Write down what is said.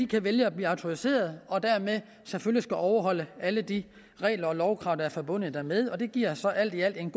kan vælge at blive autoriserede og dermed selvfølgelig skal overholde alle de regler og lovkrav der er forbundet med det og det giver så alt i alt en